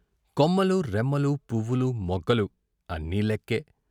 కొమ్మలూ, రెమ్మలూ, పువ్వులూ, మొగ్గలూ అన్నీ లెక్కే.